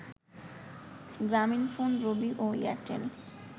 গ্রামীণ ফোন, রবি ও এয়ারটেল